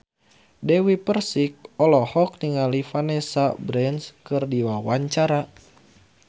Dewi Persik olohok ningali Vanessa Branch keur diwawancara